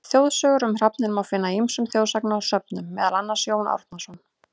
Þjóðsögur um hrafninn má finna í ýmsum þjóðsagnasöfnum, meðal annars: Jón Árnason.